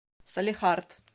салехард